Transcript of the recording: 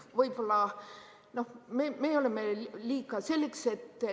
Võib-olla me oleme liiga.